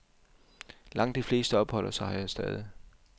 Langt de fleste opholder sig her stadig.